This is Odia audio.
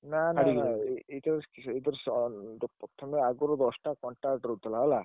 ନା ନା ଏ ଯୋଉ ପ୍ରଥମେ ଆଗୁରୁ ଦଶଟା contact ରହୁଥିଲା ହେଲା।